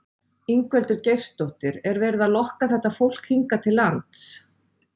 Ingveldur Geirsdóttir: Er verið að lokka þetta fólk hingað til lands?